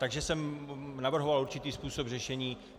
Takže jsem navrhoval určitý způsob řešení.